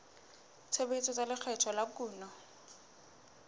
tshebetso tsa lekgetho la kuno